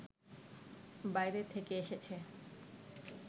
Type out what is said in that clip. বাইরে থেকে এসেছে